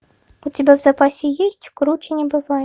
у тебя в запасе есть круче не бывает